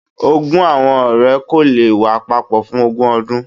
Ogún awọn ọrẹ ko le wa papọ fun ogun ọdun.